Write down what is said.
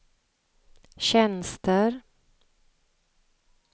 tjänster